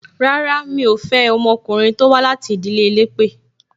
Rárá, mi ò fẹ́ ọmọkùnrin tó wá láti ìdílé elépè